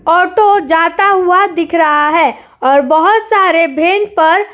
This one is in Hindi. ऑटो जाता हुआ दिख रहा है और बोहोत सारे पर